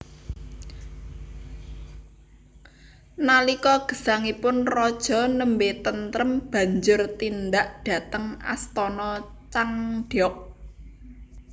Nalika gesangipun raja nembé tentrem banjur tindak dhateng Astana Changdeok